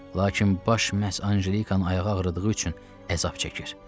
Lakin baş məhz Anjelikanın ayağı ağrıdığı üçün əzab çəkir.